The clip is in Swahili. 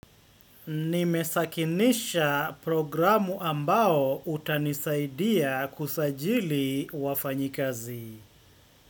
Nimesakinisha programu ambao utanisaidia kusajili wafanyikazi.